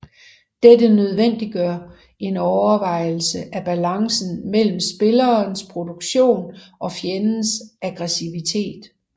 Dette nødvendiggør en overvejelse af balancen mellem spillerens produktion og fjendens aggressivitet